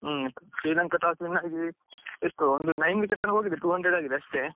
ಹ್ಮ್ Sri Lanka toss win ಆಗಿ ಎಷ್ಟು ಒಂದು nine wickets ತನಕ ಹೋಗಿದೆ two hundred ಆಗಿದೆ ಅಷ್ಟೇ.